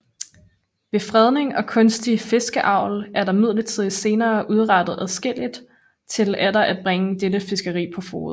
Ved fredning og kunstig fiskeavl er der imidlertid senere udrettet adskilligt til atter at bringe dette fiskeri på fode